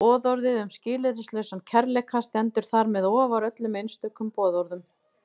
Boðorðið um skilyrðislausan kærleika stendur þar með ofar öllum einstökum boðorðum.